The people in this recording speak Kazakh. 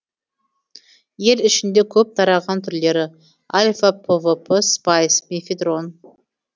ел ішінде көп тараған түрлері альфа пвп спайс мефедрон